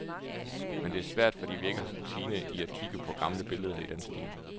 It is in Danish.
Men det er svært, fordi vi ikke har rutine i at kigge på gamle billeder i den stil.